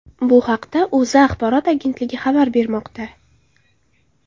Bu haqda O‘zA axborot agentligi xabar bermoqda .